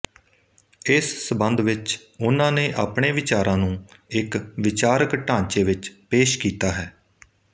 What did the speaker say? ਇਸ ਸੰਬੰਧ ਵਿੱਚ ਉਨ੍ਹਾਂ ਨੇ ਆਪਣੇ ਵਿਚਾਰਾਂ ਨੂੰ ਇੱਕ ਵਿਚਾਰਿਕ ਢਾਂਚੇ ਵਿੱਚ ਪੇਸ਼ ਕੀਤਾ ਹੈ